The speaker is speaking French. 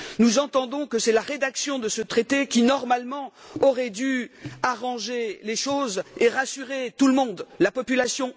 Nous entendons que c'est la rédaction de ce traité qui, normalement, aurait dû arranger les choses et rassurer tout le monde, y compris la population.